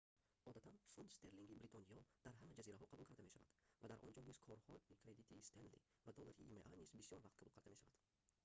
одатан фунт стерлинги бритониё дар ҳама ҷазираҳо қабул карда мешавад ва дар онҷо низ корҳои кредитии стенли ва доллари има низ бисёр вақт қабул карда мешавад